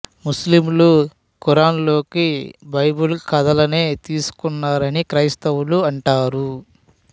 ముస్లింలు ఖురాన్ లోకి బైబిల్ కథలనే తీసుకున్నారని క్రైస్తవులు అంటారు